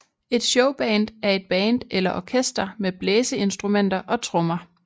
Et Showband er et band eller orkester med blæseinstrumenter og trommer